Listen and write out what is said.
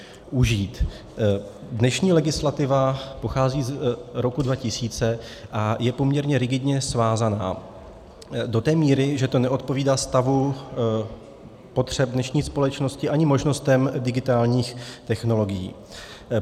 Dnešní legislativa pochází z roku 2000 a je poměrně rigidně svázaná do té míry, že to neodpovídá stavu potřeb dnešní společnosti ani možnostem digitálních technologií.